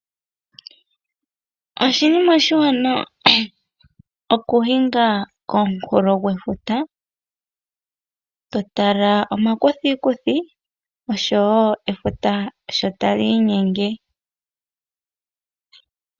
Oshinima oshiwanawa okuhinga konkunkulo gwefuta totala omakuthikuthi osho wo efuta sho ta li inyenge.